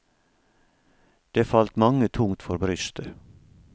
Det falt mange tungt for brystet.